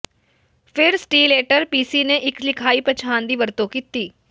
ਫਿਰ ਸਟੀਲਏਟਰ ਪੀਸੀ ਨੇ ਇੱਕ ਲਿਖਾਈ ਪਛਾਣ ਦੀ ਵਰਤੋਂ ਕੀਤੀ